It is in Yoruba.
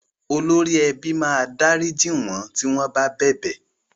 Olórí ẹbí máa dárìjí wọ́n tí wọ́n bá bẹ̀bẹ̀.